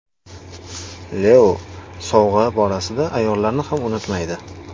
Leo sovg‘a borasida ayollarni ham unutmaydi.